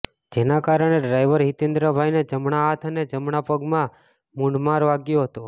જેના કારણે ડ્રાઈવર હિતેન્દ્રભાઈને જમણા હાથ અને જમણા પગમાં મૂઢ માર વાગ્યો હતો